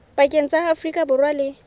pakeng tsa afrika borwa le